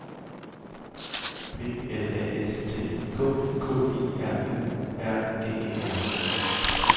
P L A S T I K K I R U R G E R